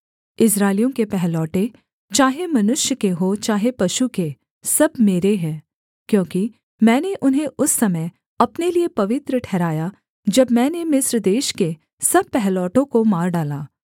इस्राएलियों के पहलौठे चाहे मनुष्य के हों चाहे पशु के सब मेरे हैं क्योंकि मैंने उन्हें उस समय अपने लिये पवित्र ठहराया जब मैंने मिस्र देश के सब पहिलौठों को मार डाला